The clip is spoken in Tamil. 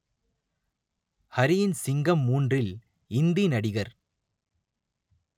ஹரியின் சிங்கம் மூன்றில் இந்தி நடிகர்